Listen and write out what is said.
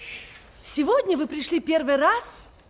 сегодня вы пришли первый раз